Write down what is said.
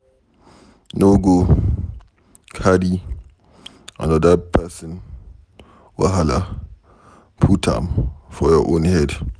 No go carry anoda pesin wahala put am for your own head.